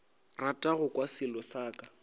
rata go kwa selo ka